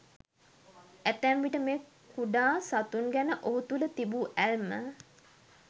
ඇතැම් විට මේ කුඩා සතුන් ගැන ඔහු තුළ තිබූ ඇල්ම